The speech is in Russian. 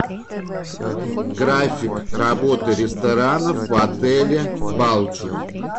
график работы ресторанов в отеле балчуг